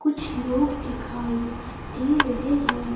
कुछ लोग दिखाई दे रहे हैं।